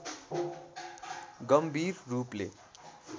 गम्भीर रूपले